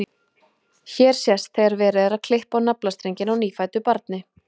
hér sést þegar verið er að klippa á naflastrenginn á nýfæddu barni